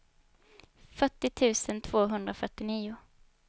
fyrtio tusen tvåhundrafyrtionio